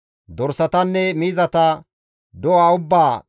Dorsatanne miizata, do7a ubbaa,